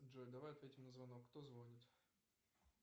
джой давай ответим на звонок кто звонит